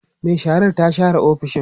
Mai sharar ta share ofisoshin